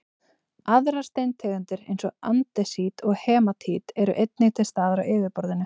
aðrar steintegundir eins og andesít og hematít eru einnig til staðar á yfirborðinu